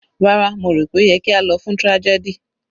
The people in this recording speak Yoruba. Rárá, mo rò pé ó yẹ kí a lọ fún tragedy.